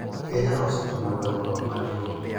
Kenya osetimo dongruok maduong'